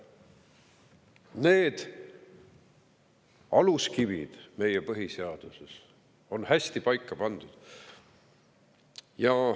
Need aluskivid on meie põhiseaduses hästi paika pandud.